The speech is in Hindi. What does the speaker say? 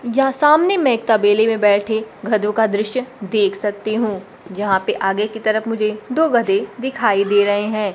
यहां सामने में एक तबेले में बैठे गधों का दृश्य देख सकती हूं यहां पे आगे की तरफ मुझे दो गधे दिखाई दे रहे हैं।